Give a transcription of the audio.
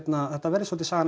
þetta verði svolítið sagan